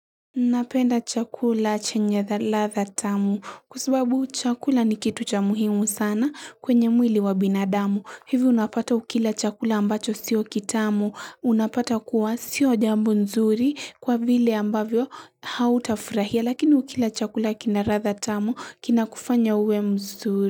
Napenda chakula chenye radha tamu kwasababu chakula ni kitu cha muhimu sana kwenye mwili wa binadamu. Hivyo unapata ukila chakula ambacho sio kitamu. Unapata kuwa sio jambo nzuri kwa vile ambavyo hauta furahia lakini ukila chakula kina ratha tamu kina kufanya uwe mzuri.